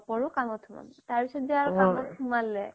নপঢ়োঁ কামত সোমাম তাৰ পিছত যে কামত সোমালে